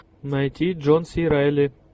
найти джон си райли